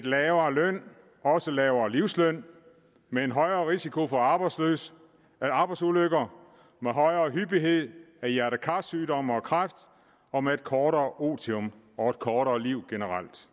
lavere løn også en lavere livsløn med en højere risiko for arbejdsulykker arbejdsulykker med højere hyppighed af hjerte kar sygdomme og kræft og med et kortere otium og et kortere liv generelt